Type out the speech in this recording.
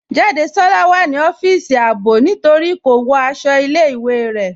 Jádésọla wà ní ọfisì àábò ní torí kò wọ́ àṣọ̀ ilẹ̀-ìwé rẹ.